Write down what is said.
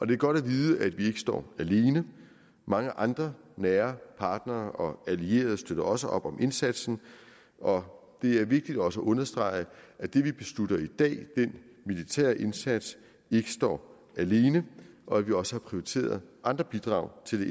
det er godt at vide at vi ikke står alene mange andre nære partnere og allierede støtter også op om indsatsen og det er vigtigt også at understrege at det vi beslutter i dag den militære indsats ikke står alene og at vi også har prioriteret andre bidrag til det